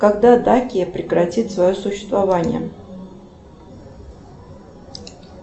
когда дакия прекратит свое существование